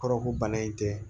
Kɔrɔ ko bana in tɛ